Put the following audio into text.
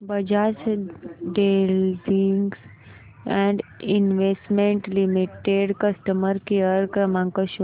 Bajaj holdings and investment limited customer care क्रमांक show कर